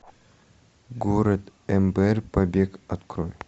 город эмбер побег открой